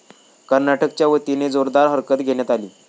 कर्नाटकाच्या वतीने जोरदार हरकत घेण्यात आली.